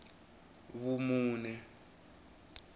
vumune